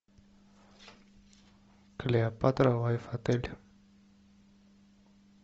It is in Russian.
клеопатра лайф отель